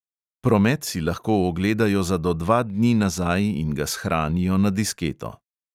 Promet si lahko ogledajo za do dva dni nazaj in ga shranijo na disketo.